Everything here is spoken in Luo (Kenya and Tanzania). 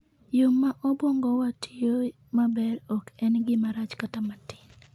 Yo ma obwongowa tiyoe maber ok en gima rach kata matin.